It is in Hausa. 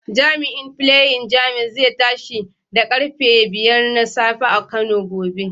Jami'in Flying James zai tashi da karfe 5 na safe a Kano gobe.